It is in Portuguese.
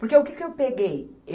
Porque o que que eu peguei?